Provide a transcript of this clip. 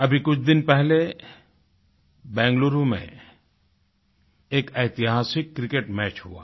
अभी कुछ दिन पहले बेंगलुरु में एक ऐतिहासिक क्रिकेट मैच हुआ